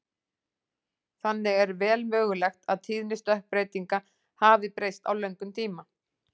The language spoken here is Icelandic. þannig er vel mögulegt að tíðni stökkbreytinga hafi breyst á löngum tíma